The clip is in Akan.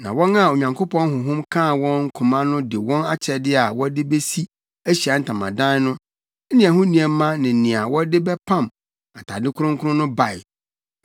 na wɔn a Onyankopɔn honhom kaa wɔn koma no de wɔn akyɛde a wɔde besi Ahyiae Ntamadan no ne ɛho nneɛma ne nea wɔde bɛpam atade kronkron no bae.